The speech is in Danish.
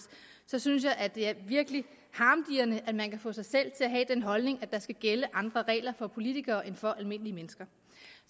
synes jeg faktisk at det er virkelig harmdirrende at man kan få sig selv til at have den holdning at der skal gælde andre regler for politikere end for almindelige mennesker